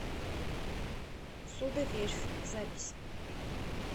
судоверфь запись